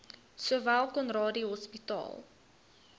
sowel conradie hospitaal